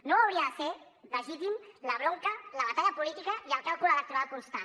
no hauria de ser legítima la bronca la batalla política i el càlcul electoral constant